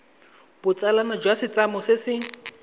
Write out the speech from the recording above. botsalano jwa setlamo se se